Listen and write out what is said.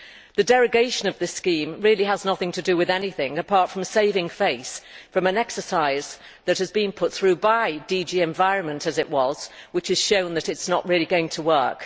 The derogation from this scheme really has nothing to do with anything apart from saving face from an exercise that has been pushed through by DG Environment and which has shown that it is not really going to work.